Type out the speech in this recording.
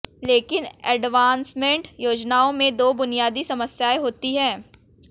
लेकिन एन्डॉवमेंट योजनाओं में दो बुनियादी समस्याएं होती हैं